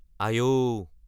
আই ঔ!